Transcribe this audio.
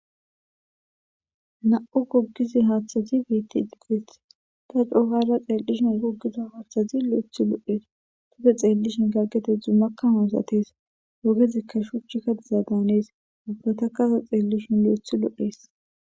Na7u goggizi haaththazi beetti diges ta coohara xeellishin gogiza haashthazi lo7ethi lo7ees tufe xeellishin gaggetedzu makkamoosatees ogezikka shuchchikka diza danees ubbata kasa xeellishin lo7ethi lo7ees.